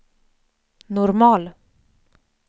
normal